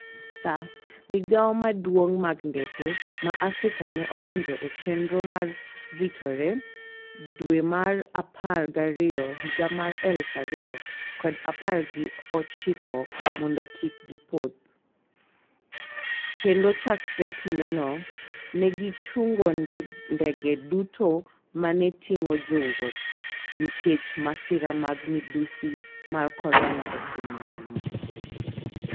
SAA, migao maduong' mag ndeke ma Africa ne odonjo e chenro mar ritore dwe mar apar gariyo higa mar aluf ariyo kod apar gi ochiko mondo kik gi pothi, kendo chakre kindeno, ne gi chungo ndege duto ma ne ting’o jowuoth nikech masira mag midhusi mar korona e piny mangima.